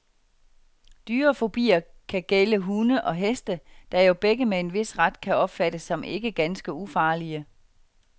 Dyrefobier kan gælde hunde og heste, der jo begge med en vis ret kan opfattes som ikke ganske ufarlige.